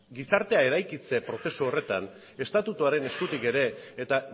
gizartea eraikitze prozesu horretan estatutuaren eskutik ere eta